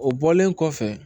O bɔlen kɔfɛ